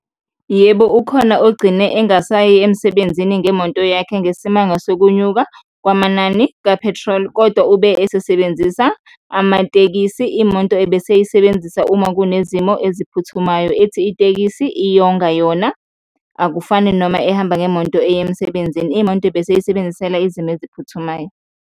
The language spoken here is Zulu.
Yebo, ukhona ogcine engasayi emsebenzini ngemoto yakhe ngesimanga sokunyuka kwamanani ka-petrol kodwa ube esesebenzisa amatekisi, imoto ebeseyisebenzisa uma kunezimo eziphuthumayo, ethi itekisi iyonga yona akufani noma ehamba ngemonto eya emsebenzini. Imoto beseyisebenzisela izimo eziphuthumayo.